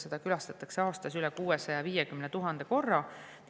Seda külastatakse aastas üle 650 000 korra.